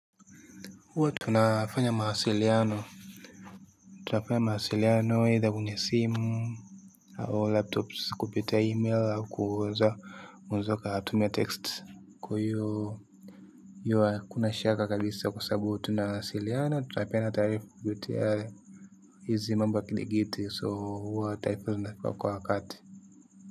Huwa tunafanya mahasiliano tunafanya mahasiliano aitha kwenye simu au laptops kupita e-mail au kuweza mzoka tuma text kwa hiyo yuwa kuna shaka kabisa kwa sababu tunawasiliana tutapena tarifu kubuti hale hizi mamba kiligiti so huwa taifu zindafika kwa wakati.